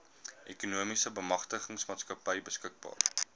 ekonomiese bemagtigingsmaatskappy beskikbaar